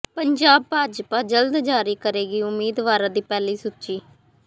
ਪੰਜਾਬ ਭਾਜਪਾ ਜਲਦ ਜਾਰੀ ਕਰੇਗੀ ਉਮੀਦਵਾਰਾਂ ਦੀ ਪਹਿਲੀ ਸੂਚੀ